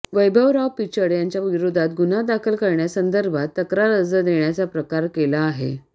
वैभवराव पिचड यांच्या विरोधात गुन्हा दाखल करण्यासंदर्भात तक्रार अर्ज देण्याचा प्रकार केला आहे